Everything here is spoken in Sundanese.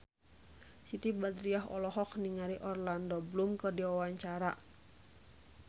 Siti Badriah olohok ningali Orlando Bloom keur diwawancara